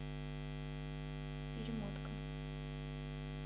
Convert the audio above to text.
перемотка